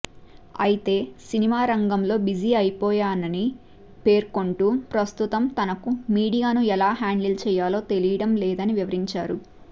అయితే సినిమా రంగంలో బిజీ అయిపోయినని పేర్కొంటూ ప్రస్తుతం తనకు మీడియాను ఎలా హ్యాండిల్ చేయాలో తెలియడం లేదని వివరించారు